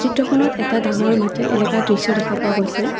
ফটোখনত এটা ডাঙৰ মাটিৰ এলেকা দৃশ্য দেখা পোৱা গৈছে।